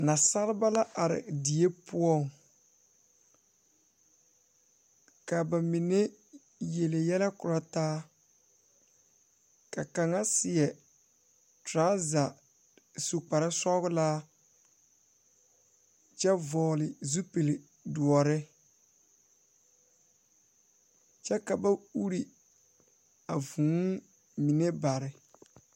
Nasaaleba are die poɔ kaa ba mine yele yɛlɛ korɔ taa ka kaŋa seɛ trɔza su kparesɔglaa kyɛ vɔɔle zupil doɔre kyɛ ka ba ure a vūū mine bare.